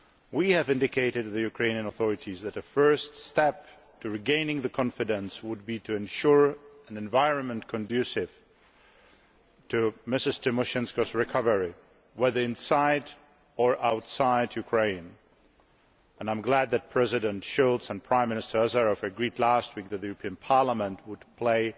We have indicated to the Ukrainian authorities that a first step towards regaining confidence would be to ensure an environment conducive to Ms Tymoshenko's recovery, whether inside or outside Ukraine, and I am glad that President Schulz and Prime Minister Azarov agreed last week that the European Parliament would play